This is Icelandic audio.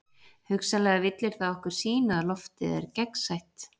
Hugsanlega villir það okkur sýn að loftið er gegnsætt.